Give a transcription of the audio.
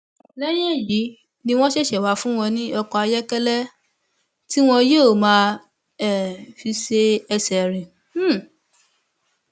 ó dáwó owó tó ń dá sílè dúró fúngbà díè nígbà tí díè nígbà tí ó n bọlọwọ àìníṣẹ